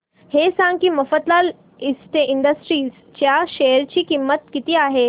हे सांगा की मफतलाल इंडस्ट्रीज च्या शेअर ची किंमत किती आहे